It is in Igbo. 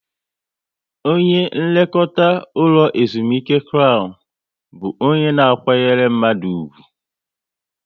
Onye nlekọta ụlọ ezumike Krown bụ onye na kwanyere mmadụ ugwu